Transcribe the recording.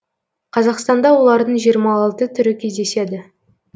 қазақстанда олардың жиырма алты түрі кездеседі